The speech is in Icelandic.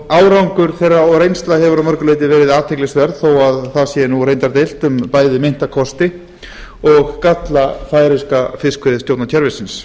árangur þeirra og reynsla hefur að mörgu leyti verið athyglisverð þó reyndar sé deilt um bæði meinta kosti og galla færeyska fiskveiðistjórnarkerfisins